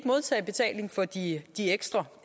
modtage betaling for de ekstra